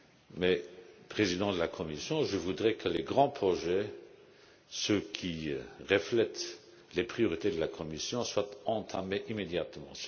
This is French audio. Mais, en tant que président de la Commission, je voudrais que les grands projets, ceux qui reflètent les priorités de la Commission, soient entamés immédiatement.